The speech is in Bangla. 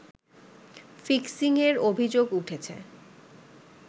ফিক্সিং-এর অভিযোগ উঠেছে